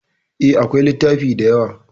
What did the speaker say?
E, akwai littafi da yawa.